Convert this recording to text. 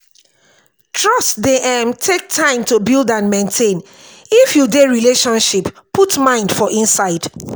trust dey um take time to build and maintain if you dey relationship put mind for inside